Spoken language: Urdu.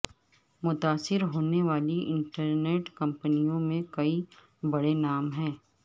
متاثر ہونے والی انٹرنیٹ کمپنیوں میں کئی بڑے نام ہیں